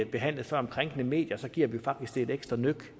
behandlede om krænkende medier giver vi det faktisk et ekstra nøk